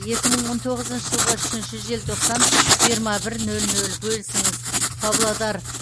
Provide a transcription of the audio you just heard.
екі мың он тоғызыншы жылғы үшінші желтоқсан жиырма бір нөл нөл бөлісіңіз павлодар